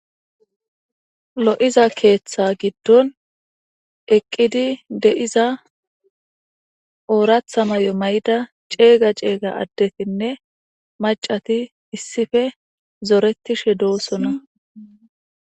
Lo7iza keeththa giddon eqqidi de7iza ooratha may7o may7da ceega ceega addetinne macati issife zoretishe doosona.